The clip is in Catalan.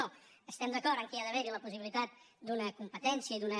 no estem d’acord que hi ha d’haver la possibilitat d’una competència i d’una